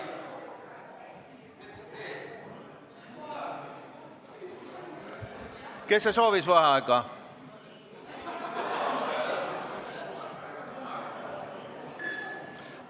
Kes see soovis vaheaega?